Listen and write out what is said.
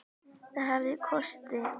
Það hafði kosti.